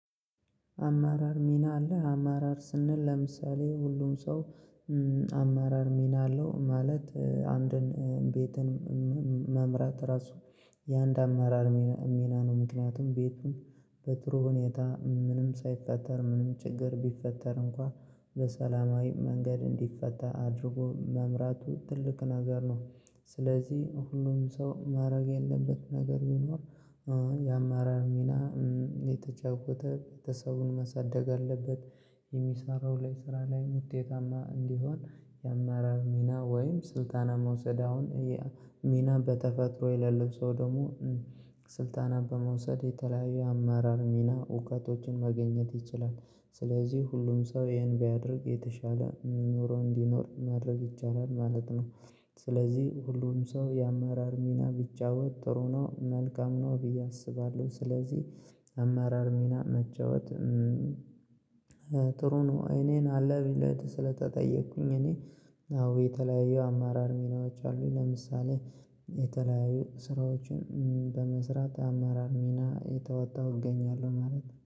አመራር ሚና አለህ አመራር ስንል ለምሳሌ ሁሉም ሰው አመራር ሚና አለው። ማለት አንድን ቤትን መምራት ራሱ የአንድ አመራር ሚና ነው። ምክንያቱም ቤቱን በጥሩ ሁኔታ ምንም ሳይፈጠር ምንም ችግር ቢፈጠር እንኳን በሰላማዊ መንገድ እንዲፈታ አድርጎ መምራቱ ትልቅ ነገር ነው። ስለዚህ ሁሉም ሰው ማድረግ ያለበት ነገር ቢኖር የአመራር ሚናን እየተጫወተ ቤተሰቡን መሳደግ አለበት። የሚሰራው ላይ ስራ ላይ ውጤታማ እንዲሆን የአመራር ሚና ወይም ስልጣን መውሰድ አሁን ሚና በተፈጥሮ የሌለው ሰው ደግሞ ስልጣን በመውሰድ የተለያዩ አመራር ሚና እውቀቶችን ማግኘት ይችላል። ስለዚህ ሁሉም ሰው ይሄን ቢያደርግ የተሻለ ኑሮ እንዲኖር ማድረግ ይቻላል ማለት ነው። ስለዚህ ሁሉም ሰው የአመራር ሚና ቢጫወት ጥሩ ነው መልካም ነው ብዬ አስባለሁ። ስለዚህ አመራር ሚና መጫወት ጥሩ ነው። እኔን አለ ብለህ ስለተጠየቅኩኝ እኔ አዎ የተለያየው አመራር ሚናዎች አሉኝ ለምሳሌ የተለያዩ ስራዎችን በመስራት አራር ሚና እየተወጣው እገኛለሁ ማለት